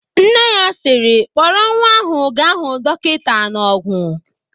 Nne ya sịrị, "Kpọrọ nwa ahụ gaa hụ dọkịta n'Ọ̀gwù!"